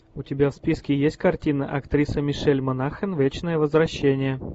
у тебя в списке есть картина актриса мишель монахэн вечное возвращение